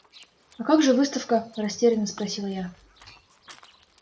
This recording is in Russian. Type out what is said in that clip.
а как же выставка растеряно спросила я